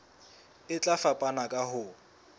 e tla fapana ka ho